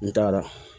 N t'a la